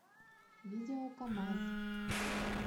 видео камазз